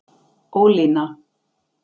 Ólína